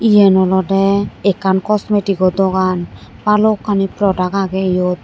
yan olodey ekkan cosmetico dogan balukkani product agey yot.